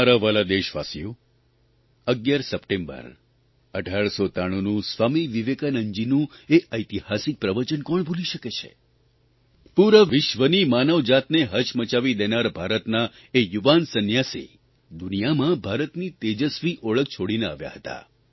મારા વ્હાલા દેશવાસીઓ 11 સપ્ટેમ્બર 1893નું સ્વામી વિવેકાનંદજીનું એ ઐતિહાસિક પ્રવચન કોણ ભૂલી શકે છે પૂરા વિશ્વની માનવજાતને હચમચાવી દેનાર ભારતના એ યુવાન સંન્યાસી દુનિયામાં ભારતની તેજસ્વી ઓળખ છોડીને આવ્યા હતા